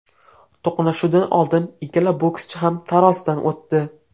To‘qnashuvdan oldin ikkala bokschi ham tarozidan o‘tdi.